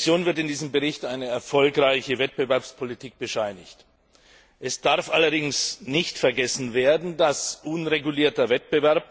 Der Kommission wird in diesem Bericht eine erfolgreiche Wettbewerbspolitik bescheinigt. Es darf allerdings nicht vergessen werden, dass unregulierter Wettbewerb